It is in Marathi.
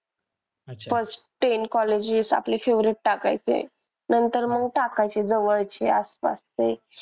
First ten colleges आपली favorite टाकायची नंतर मग टाकायचे जवळचे आसपास चे.